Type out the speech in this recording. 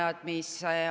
Hea minister!